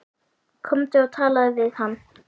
Komdu og talaðu við hann!